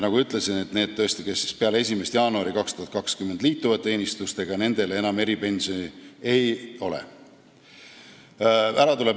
Nagu ma ütlesin, nendel, kes liituvad teenistusega peale 1. jaanuari 2020, eripensioni enam ei ole.